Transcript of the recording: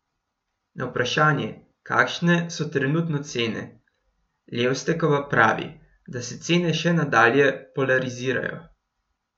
Na vprašanje, kakšne so trenutno cene, Levstekova pravi, da se cene še nadalje polarizirajo.